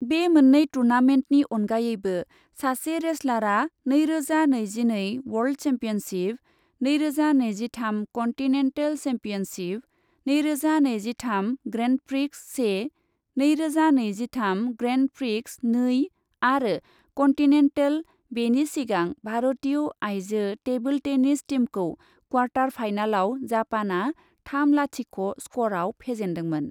बे मोननै टुर्नामेन्टनि अनगायैबो सासे रेसलारआ नैरोजा नैजिनै वर्ल्ड सेम्पियनशिप, नैरोजा नैजिथाम कन्टिनेन्टेल सेम्पियनशिप, नैरोजा नैजिथाम ग्रेन्डप्रिक्स से, नैरोजा नैजिथाम ग्रेन्डप्रिक्स नै आरो कन्टिनेन्टेल बेनि सिगां भारतीय आइजो टेबोल टेनिस टीमखौ क्वार्टार फाइनालाव जापानआ थाम लाथिख' स्करआव फेजेन्दोंमोन।